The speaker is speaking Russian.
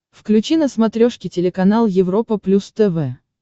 включи на смотрешке телеканал европа плюс тв